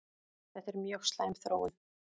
Þetta er mjög slæm þróun